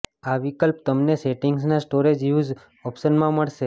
આ વિકલ્પ તમને સેટિંગ્સના સ્ટોરેજ યુઝ ઓપ્શનમાં પણ મળશે